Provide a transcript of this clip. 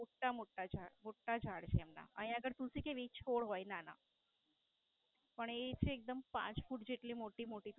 મોટા મોટા મોટા ઝાડ છે એમના. આયા આગળ તુલસી કેવી છોડ હોય નાના પણ એ છે એકદમ પાંચ ફૂટ જેટલી મોટી